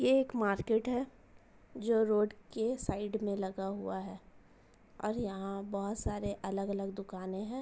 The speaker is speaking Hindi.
यह एक मार्केट है जो रोड के साइड में लगा हुआ है औऱ यहां बहुत सारे अलग-अलग दुकानें हैं।